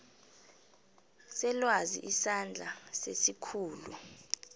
selwazi isandla sesikhulu